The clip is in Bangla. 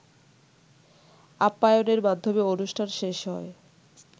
আপ্পায়নের মাধ্যমে অনুষ্ঠান শেষ হয়